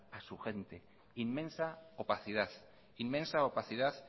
a su gente inmensa opacidad inmensa opacidad